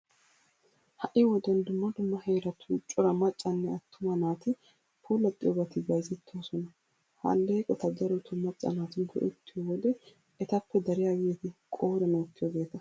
Ha"i wodiyan dumma dumma heeratun cora maccanne attuma naati puulaxxiyobati bayzettoosona. Ha alleeqota darotoo macca naati go"ettiyo wode etappe dariyageeti qooriyan wottiyogeeta.